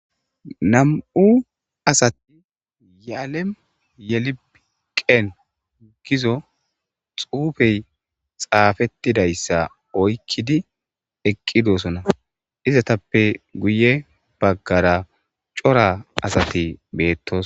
nam'u assatti yealem yelibi qen giizo xuufey xafettidayssa oykkidi eqqi doosona izatappe guye baggara cora asati beettos